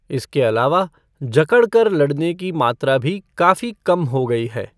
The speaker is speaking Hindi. इसके अलावा, जकड़ कर लड़ने की मात्रा भी काफी कम हो गई है।